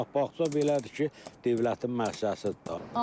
Ancaq bağça belədir ki, dövlətin müəssisəsidir də.